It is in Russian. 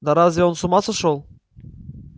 да разве он с ума сошёл